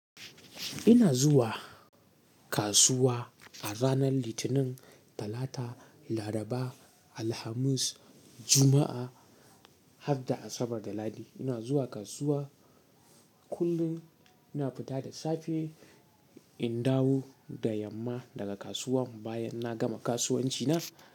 Ina zuwa kasuwa a ranan Litinin, Talata, Laraba, Alhamis, Juma'a, harda Asabar da Lahadi. Ina zuwa kasuwa kullun, ina fita da safe in dawo da yamma daga kasuwan bayan na gama kasuwanci na.